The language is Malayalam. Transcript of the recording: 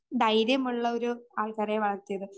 ധൈര്യമുള്ളൊരു ആക്കിയത്.